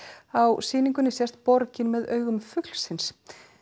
á sýningunni sést borgin með augum fuglsins